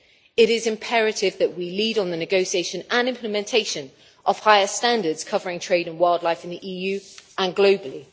It is imperative that we lead on the negotiation and implementation of higher standards covering trade in wildlife in the EU and globally.